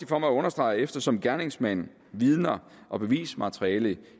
for mig at understrege at eftersom gerningsmand vidner og bevismateriale